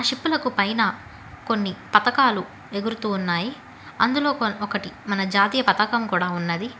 Ship లకు పైన కొన్ని పతకాలు ఎగురుతూ ఉన్నాయి అందులో ఒకటి మన జాతీయ పతాకం కూడా ఉన్నది.